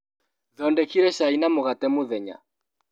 Thondekire cai na mũgate mũthenya.